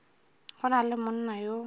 go na le monna yo